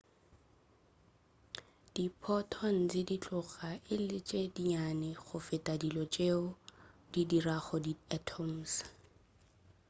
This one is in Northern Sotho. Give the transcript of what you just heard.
diphotons di tloga e le tše dinnyane go feta dilo tšeo di dirago di atoms